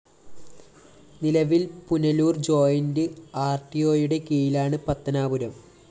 നിലവില്‍ പുനലൂര്‍ ജോയിന്റ്‌ ആര്‍ടിഒയുടെ കീഴിലാണ് പത്തനാപുരം